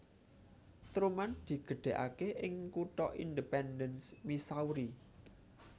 Truman digedhekake ing kutha Independence Missouri